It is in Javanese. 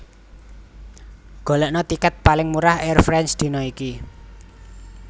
Golekno tiket paling murah Air France dina iki